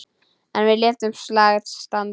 En við létum slag standa.